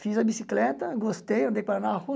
Fiz a bicicleta, gostei, andei com ela na rua.